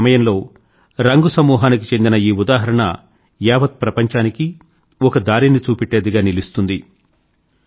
ఇటువంటి సమయంలో రంగ్ సమూహానికి చెందిన ఈ ఉదాహరణ యావత్ ప్రపంచానికీ ఒక దారిని చూపేట్టేదిగా నిలుస్తుంది